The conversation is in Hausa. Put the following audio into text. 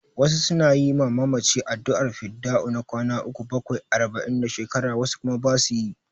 Wasu su na yi ma mamaci addu'ar fidda'u na kwana uku, bakwai, arba'in da shekara, wasu kuma ba su yi.